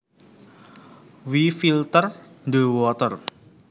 We filter the water